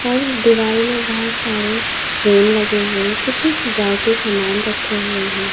और दीवारों में बहुत सारे फ्रेम लगे हुए कुछ सजावटी सामान रखे हुए हैं।